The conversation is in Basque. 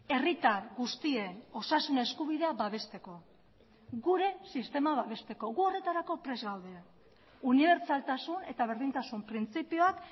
herritar guztien osasun eskubidea babesteko gure sistema babesteko gu horretarako prest gaude unibertsaltasun eta berdintasun printzipioak